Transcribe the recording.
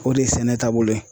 O de ye sɛnɛ taabolo ye.